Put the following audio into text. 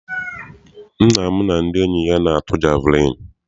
Nna m na ndị enyi ya na-atụ jeviliini.